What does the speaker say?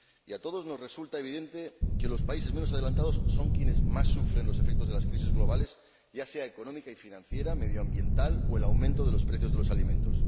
A todos nos resulta evidente que los países menos adelantados son quienes más sufren los efectos de las crisis globales, ya sean económicas y financieras, medioambientales o debidas al aumento de los precios de los alimentos.